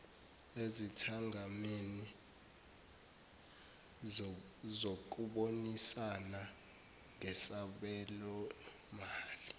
ezithangameni zokubonisana ngesabelomali